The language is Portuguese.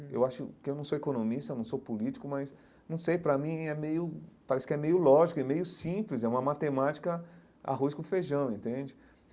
Eu acho que eu não sou economista, eu não sou político, mas não sei, para mim é meio, parece que é meio lógico, é meio simples, é uma matemática arroz com feijão, entende?